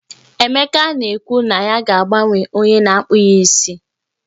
Emeka na-ekwu na ya ga-agbanwe onye na-akpụ ya isi.